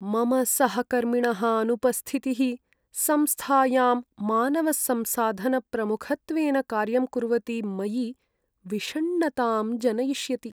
मम सहकर्मिणः अनुपस्थितिः संस्थायां मानवसंसाधनप्रमुखत्वेन कार्यं कुर्वति मयि विषण्णतां जनयिष्यति।